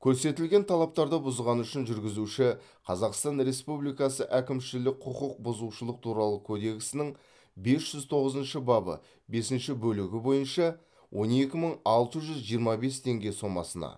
көрсетілген талаптарды бұзғаны үшін жүргізуші қазақстан республикасы әкімшілік құқық бұзушылық туралы кодексінің бес жүз тоғызыншы бабы бесінші бөлігі бойынша он екі мың алты жүз жиырма бес теңге сомасына